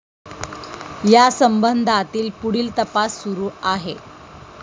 या संबंधातील पुढील तपास सुरू आहे.